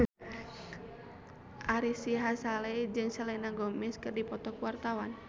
Ari Sihasale jeung Selena Gomez keur dipoto ku wartawan